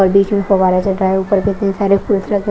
और बीच मे फव्वारा चटा है ऊपर कितने सारे फ्रूट्स रखे--